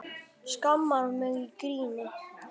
Skammar mig í gríni.